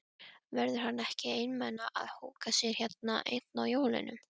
Verður hann ekki einmana að húka hérna einn á jólunum?